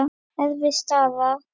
Erfið staða.